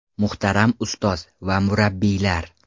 Muhtaram ustoz va murabbiylar!